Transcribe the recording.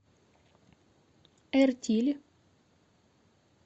эртиль